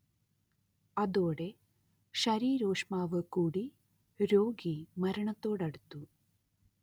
അതോടെ ശരീരോഷ്മാവു കൂടി രോഗി മരണത്തോടടുത്തു